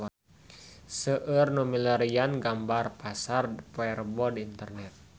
Seueur nu milarian gambar Pasar Rebo di internet